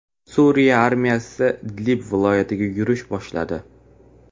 Suriya armiyasi Idlib viloyatiga yurish boshladi.